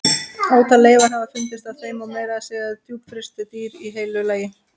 Ótal leifar hafa fundist af þeim og meira að segja djúpfryst dýr í heilu lagi.